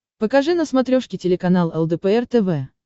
покажи на смотрешке телеканал лдпр тв